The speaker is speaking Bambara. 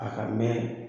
A ka mɛn